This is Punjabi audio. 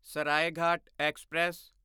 ਸਰਾਏਘਾਟ ਐਕਸਪ੍ਰੈਸ